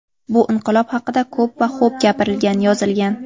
Bu inqilob haqida ko‘p va xo‘b gapirilgan, yozilgan.